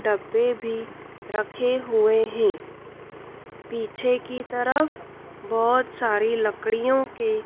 डब्बे भी रखे हुए हैं पीछे की तरफ बहोत सारी लकड़ियों के--